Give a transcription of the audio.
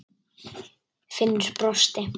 Finnur brosti.